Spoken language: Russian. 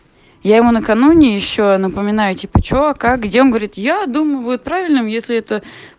я ему накануне ещё напоминаю типа что как где он говорит я думаю будет правильным если это